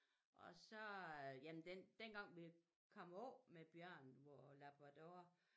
Og så øh jamen den dengang vi kom af med Bjørn vor labrador